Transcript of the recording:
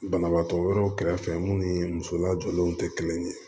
Banabaatɔ wɛrɛw kɛrɛfɛ mun ni muso lajɔlenw tɛ kelen ye